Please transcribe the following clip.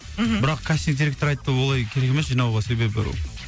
мхм бірақ кастинг директоры айтты олай керек емес жинауға себебі